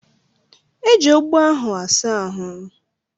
Eji ogbo ahụ asa ahụ.